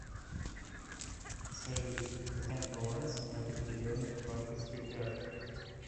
салют узнать баланс на определенной банковской карте